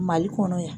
Mali kɔnɔ yan